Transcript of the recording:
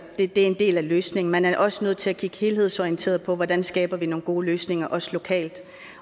er en del af løsningen man er også nødt til at kigge helhedsorienteret på hvordan vi skaber nogle gode løsninger også lokalt